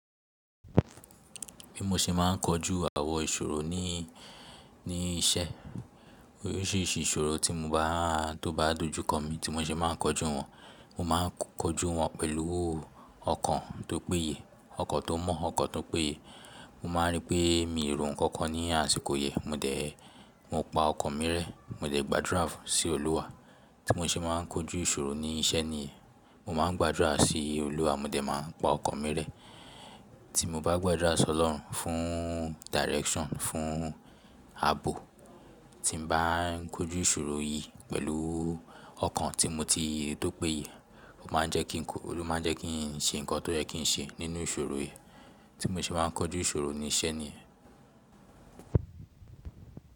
Bí mo ṣe máà ń kojú àwọn ìṣòro ní, ní iṣẹ́ oríṣìíríṣìí ìṣòro tí mo báà, tó bá dojú kọ mi tí mo ṣe máà ń kojú wọn, mo máà ń kojú wọn pẹ̀lú ọkàn tó péye, ọkàn tó mọ̀, ọkàn tó péye. Mo máà ń rí pé mi ò rò nkankan ní àsìkò yẹn, mo dẹ̀, mo pa ọkàn mi rẹ́, mo dẹ̀ gbàdúrà fún sí Olúwa. Tí mo ṣe máà ń kojú ìṣòro ní iṣẹ́ nìyen, mo máà ń gbàdúrà sí Olúwa, mo dẹ̀ máà pa ọkàn mi rẹ́. Tí mo bá gbàdúrà sí Ọlọ́run fún direction, fún abo tí mo bá ń kojú ìṣòro yìí pẹ̀lú ọkàn tí mo ti tò péye, ó máà ń jẹ́ kí n kọ, òun ló máà ń jẹ́ kí n ṣe nǹkan tó yẹ kí n ṣe nínú ìṣòro yìí tí mo ṣe máà ń kojú ìṣòro ní iṣẹ́ ni.